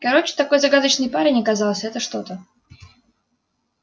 короче такой загадочный парень оказался это что-то